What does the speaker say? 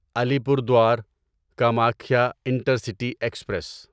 علی پور دوار Kamakhya intercity express